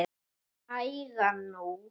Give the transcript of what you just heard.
Hægan nú